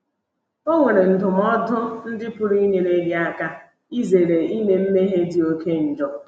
O nwere ndụmọdụ ndị pụrụ inyere gị aka izere ime mmehie dị oké njọ.